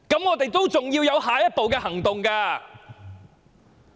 我們還要有下一步行動。